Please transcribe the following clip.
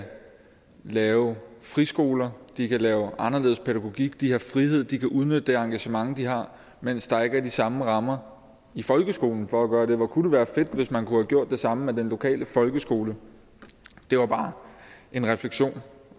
lave friskoler de kan lave en anderledes pædagogik de har frihed og de kan udnytte det engagement de har mens der ikke er de samme rammer i folkeskolen for at gøre det hvor kunne det være fedt hvis man kunne have gjort det samme med den lokale folkeskole det var bare en refleksion